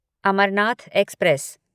Amarnath express